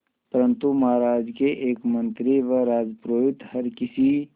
परंतु महाराज के एक मंत्री व राजपुरोहित हर किसी